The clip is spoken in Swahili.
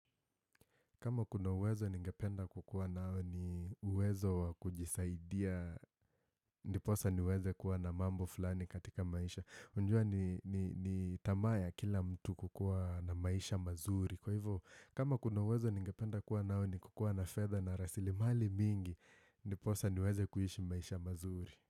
Kama kuna uwezo ningependa kukua nao ni uwezo wa kujisaidia, ndiposa niweze kuwa na mambo fulani katika maisha. Unajua ni tamaa ya kila mtu kukua na maisha mazuri. Kwa hivyo, kama kuna wezo ningependa kuwa nao ni kukua na fedha na rasilimali mingi, ndiposa niweze kuishi maisha mazuri.